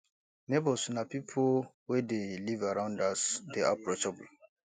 neigbours na pipo wey dey live around us dey approachable